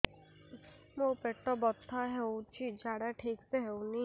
ମୋ ପେଟ ବଥା ହୋଉଛି ଝାଡା ଠିକ ସେ ହେଉନି